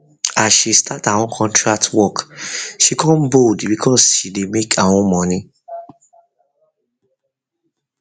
as she start her own contract work she come bold because she dey make her own money